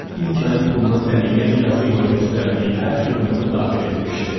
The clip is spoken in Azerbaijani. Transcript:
İlk ayın puluna səliqəli yazı ilə göstərdiyi hər xidməti daxil etmişdi.